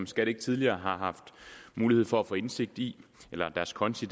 skat ikke tidligere har haft mulighed for at få indsigt i deres konti